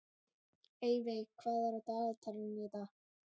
Eyveig, hvað er á dagatalinu í dag?